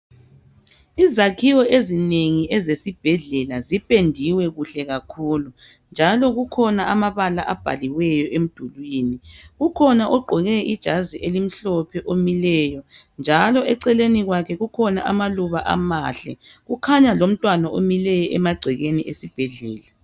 Izakhiwo ezinengi ezesibhedlela zipendiwe kahle kakhulu njalo kukhona amabala abhaliweyo emdulwini kukhona ogqoke ijazi elimhlophe omileyo njalo eceleni kwakhe kukhona amaluba amahle kukhanya lomntwana omileyo emagcekeni esibhedlela.